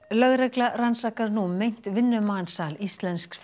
lögregla rannsakar nú meint vinnumansal íslensks